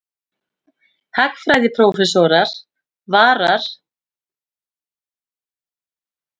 Hagfræðiprófessor varar við því að slík þróun hafi neikvæð áhrif á gengi krónu.